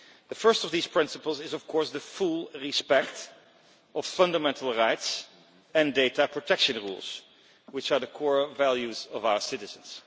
The first of these principles is, of course, full respect for fundamental rights and data protection rules, which are the core values of our citizens.